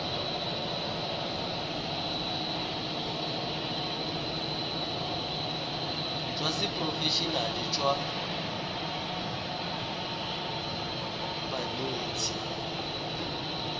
jwa seporofe enale jwa banetshi